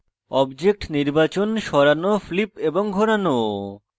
objects নির্বাচন সরানো flip এবং ঘোরানো